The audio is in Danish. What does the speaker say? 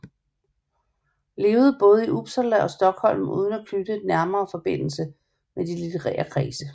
Levede baade i Upsala og Sthlm uden at knytte nærmere Forbindelse med de litterære Kredse